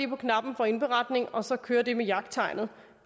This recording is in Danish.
på knappen for indberetning og så kører det med jagttegnet